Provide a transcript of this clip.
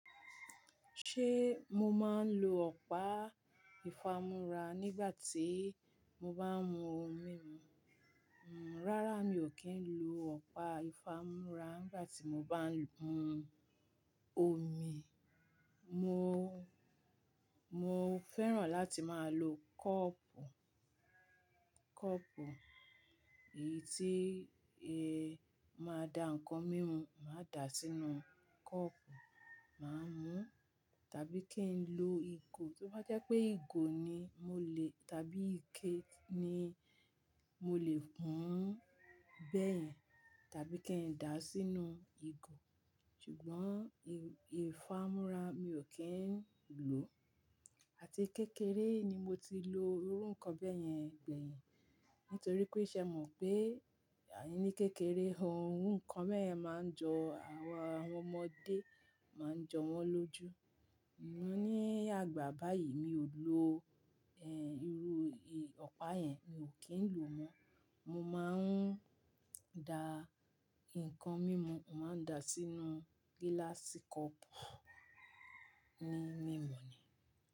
Ṣé mo máa ń lo ọ̀pá ìfámora nígbà tí mo bá ń mu omi mu? Rárá, mi ò kí ń lo ọ̀pá ìfámora nígbà tí mo bá ń mu omi. Mo, mo fẹ́ràn láti máa lo kọ́ọ̀pù, kọ́ọ̀pù, èyí tí eh, máa da ǹkan mímu, màá dà sínú kọ́ọ̀pù, màá mú. Tàbí kí n lo ìgò, tí wọ́n jẹ́ pé ìgò ni mo lè tàbí ike ni mo lè pọ́n bẹ́ẹ̀, tàbí kí n dà á sínú ìgò. Ṣùgbọ́n ìfámú́ra mi ò kí ń lò. Àti kékeré ni mo ti lo irú nǹkan bẹ́ẹ̀ yẹn gbẹ̀yìn. Nítorí pé ìṣe mọ̀ pé, à ní kékeré, ohun nǹkan bẹ́ẹ̀ yẹn máa ń jọ àwọn ọmọdé, máa ń jọ wọ́n lójú. Ni àgbà báyìí mi ò lo ẹ́, irú ọ̀pá yẹn mi ò kí ń lò mọ́. Mo máa ń da ǹkan mímu, màá dà sínú gílássì kọ́ọ̀pù, ní mímu ni.